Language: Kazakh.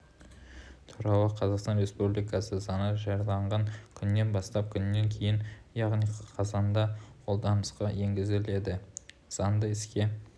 туралы қазақстан республикасы заңы жарияланған күннен бастап күннен кейін яғни қазанда қолданысқа енгізіледі заңды іске